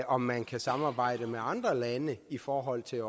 om man kan samarbejde med andre lande i forhold til